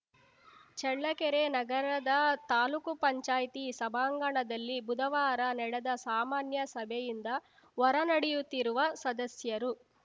ಚಳ್ಳಕೆರೆ ನಗರದ ತಾಲ್ಲೂಕು ಪಂಚಾಯತಿ ಸಭಾಂಗಣದಲ್ಲಿ ಬುಧವಾರ ನಡೆದ ಸಾಮಾನ್ಯ ಸಭೆಯಿಂದ ಹೊರ ನಡೆಯುತ್ತಿರುವ ಸದಸ್ಯರು